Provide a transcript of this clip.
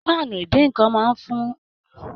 Pàánú idínnkan wà fún díndín ẹyìn, ẹran, àkàrà abbl.